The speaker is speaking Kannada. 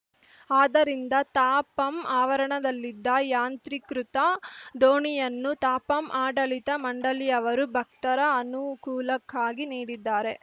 ಆದ್ದರಿಂದ ತಾಪಂ ಆವರಣದಲ್ಲಿದ್ದ ಯಾಂತ್ರೀಕೃತ ದೋಣಿಯನ್ನು ತಾಪಂ ಆಡಳಿತ ಮಂಡಳಿಯವರು ಭಕ್ತರ ಅನುಕೂಲಕ್ಕಾಗಿ ನೀಡಿದ್ದಾರೆ